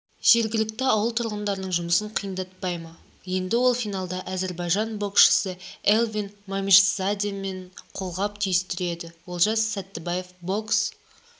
жергілікті ауыл тұрғындарының жұмысын қиындатпай ма енді ол финалда әзербайжан боксшысыэльвин мамишзадеменқолғап түйістіреді олжас сәттібаев бокс